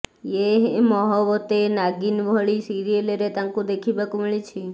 ୟେ ହୈ ମହବତେଁ ନାଗିନ ଭଳି ସିରିଏଲରେ ତାଙ୍କୁ ଦେଖିବାକୁ ମିଳିଛି